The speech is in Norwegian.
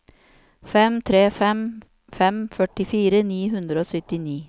fem tre fem fem førtifire ni hundre og syttini